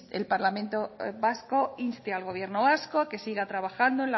el parlamento vasco inste al gobierno vasco a que siga trabajando